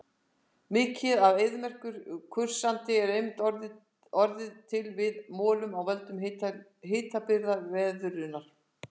Mikið af eyðimerkursandi er einmitt orðið til við molnun af völdum hitabrigðaveðrunar.